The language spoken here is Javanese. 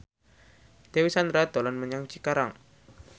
Dewi Sandra dolan menyang Cikarang